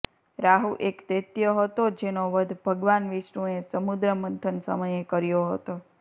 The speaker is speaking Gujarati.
રાહુ એક દેત્ય હતો જેનો વધ ભગવાન વિષ્ણુ એ સમુદ્ર મંથન સમયે કર્યો હતો